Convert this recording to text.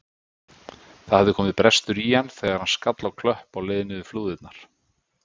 Það hafði komið brestur í hann þegar hann skall á klöpp á leið niður flúðirnar.